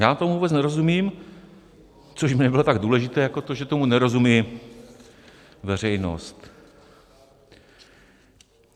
Já tomu vůbec nerozumím, což by nebylo tak důležité jako to, že tomu nerozumí veřejnost.